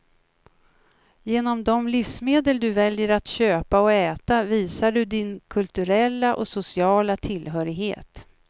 Genom de livsmedel du väljer att köpa och äta visar du din kulturella och sociala tillhörighet.